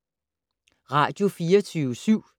Radio24syv